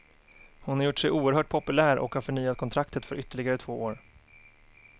Hon har gjort sig oerhört populär och har förnyat kontraktet för ytterligare två år.